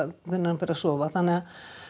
hvenær hann fer að sofa þannig að